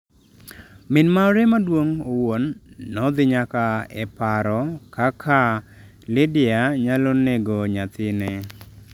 Min mare maduong’ owuon nodhi nyaka e paro kaka Lydia nyalo nego nyathine.